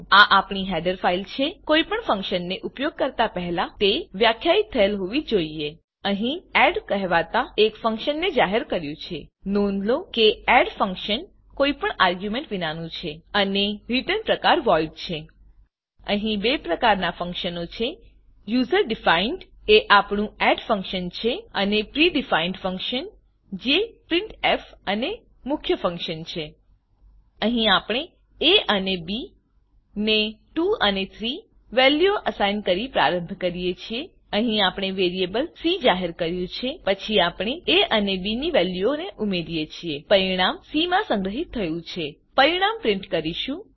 આ આપણી header file છે કોઈપણ ફંક્શનને ઉપયોગ કરતાં પહેલા તે વ્યાખ્યાયિત થયેલ હોવી જ જોઈએ અહીં અમે એડ એડકહેવાતા એક ફંક્શનને જાહેર કર્યું છે નોંધ લો કે એડ એડ ફંક્શન કોઈપણ આર્ગ્યુંમેંટ વિનાનું છે અને રીટર્ન પ્રકાર voidવોઈડ છે અહી બે પ્રકારનાં ફંક્શનો છે user ડિફાઇન્ડ યુજર ડીફાઈન એ આપણું એડ ફંક્શનછે અને pre defined pre define function જે પ્રિન્ટફ પ્રિન્ટ એફ અને મુખ્ય ફંક્શન છે અહીં આપણે એ અને બી ને 2 અને 3 વેલ્યુઓ અસાઈન કરીને પ્રારંભ કરીએ છે અહી આપણે વેરીએબલ સી જાહેર કર્યું છે પછી આપણે એ અને બી ની વેલ્યુઓને ઉમેરી છે પરીણામ સી માં સંગ્રહીત થયું છે પરીણામ પ્રીંટ કરીશું